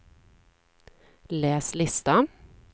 läs lista